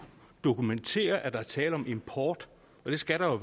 dokumentere at der er tale om import for det skal der